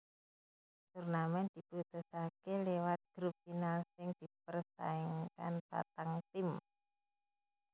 Turnamen diputusaké liwat grup final sing dipersaingkan patang tim